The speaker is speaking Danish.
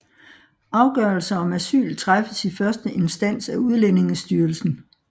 Afgørelser om asyl træffes i første instans af Udlændingestyrelsen